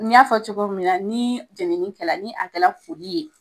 N y'a fɔ cogo min na, ni jenini kɛ la ni a kɛ la furu ye